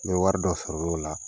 Ni wari dɔ sɔrɔ l'ola